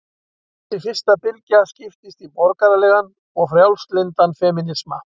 Þessi fyrsta bylgja skiptist í borgaralegan og frjálslyndan femínisma.